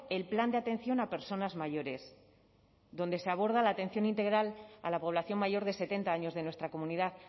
el plan de atención a personas mayores donde se aborda la atención integral a la población mayor de setenta años de nuestra comunidad